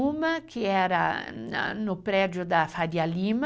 Uma que era no prédio da Faria Lima,